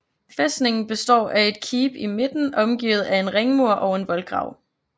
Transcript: Fæstningen består af et keep i midten omgivet af en ringmur og en voldgrav